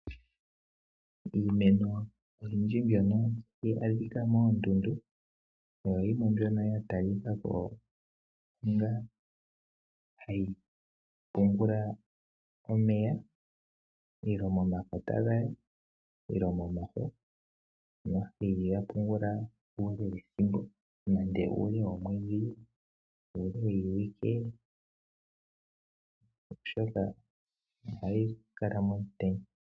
Iimeno oyindji mbyono tayi adhika moondundu oyo yimwe mbyono ya talikako onga hayi pungula omeya momakota gayo nenge momafo ,tayi pungula ethimbk lela nande uule womwedhi nenge wiiwike oshoka ohayi kala momutenya.